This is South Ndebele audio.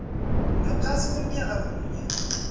ngaphasi konyaka munye